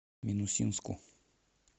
минусинску